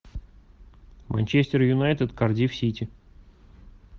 манчестер юнайтед кардифф сити